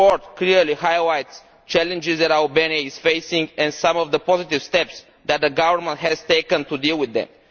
The report clearly highlights the challenges that Albania is facing and some of the positive steps that the government has taken to deal with them.